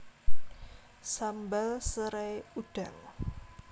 Sambal serai udang